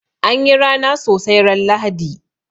An yi rana sosai ran Lahadi.